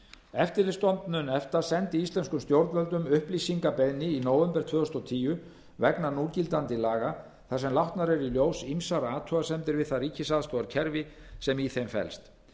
eftirlitsstofnun efta sendi íslenskum stjórnvöldum upplýsingabeiðni í nóvember tvö þúsund og tíu vegna núgildandi laga þar sem látnar eru í ljós ýmsar athugasemdir við það ríkisaðstoðarkerfi sem í þeim felst